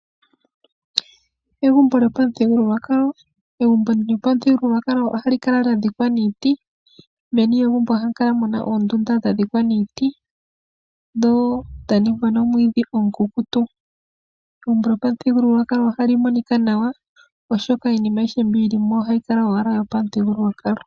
Egumbo lyopamuthigululwakalo ohali kala lyadhikwa niiti , meni lyegumbo ohamu kala muna oondunda dha dhikwa miiti, dho dhaningwa nomwiidhi omukukutu. Egumbo lyopamuthigululwakalo ohali monika nawa, oshoka iinima mbi yili mo oyo pamuthigulwakalo .